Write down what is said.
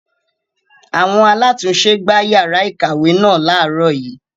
Àwọn alátùn-ún-se gbá yàrá ìkàwé náà láàrọ́ yìí.